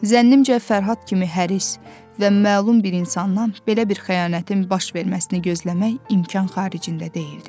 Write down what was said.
Zənnimcə Fərhad kimi həris və məlum bir insandan belə bir xəyanətin baş verməsini gözləmək imkan xaricində deyildi.